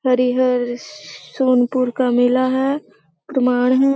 हरिहर श सोनपुर का मेला है प्रमाण है।